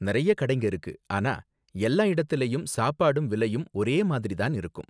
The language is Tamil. நறைய கடைங்க இருக்கு, ஆனா எல்லா இடத்துலயும் சாப்பாடும் விலையும் ஒரே மாதிரி தான் இருக்கும்.